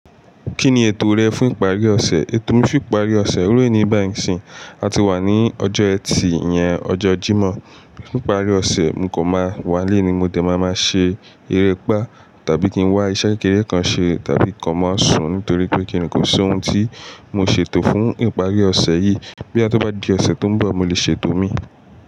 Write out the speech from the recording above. Kí ni ètò rẹ fún ìparí ọ̀sẹ̀? Ètò mi fún ìparí ọ̀sẹ̀, iru eni bàyii ń sìn, a ti wà ní ọjọ́ ẹtì iyẹn, ọjọ́ Jímọ̀. Fún ìparí ọ̀sẹ̀, mo kọ máa wálé ni mo dẹ̀ máa máa ṣe erépá tàbí kí n wá iṣẹ́ kékeré kan ṣe tàbí kín kan máa sùn nítorí pé kíni kò sí ohun tí mo ṣètò fún ìparí ọ̀sẹ̀ yìí. Boya ti ó bá di ọ̀sẹ̀ tó ń bọ̀, mo lè ṣètò mi.